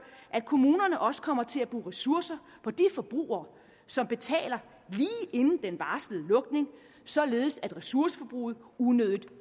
at kommunerne også kommer til at bruge ressourcer på de forbrugere som betaler lige inden den varslede lukning således at ressourceforbruget unødigt